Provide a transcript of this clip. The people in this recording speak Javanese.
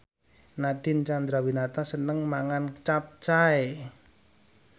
Nadine Chandrawinata seneng mangan capcay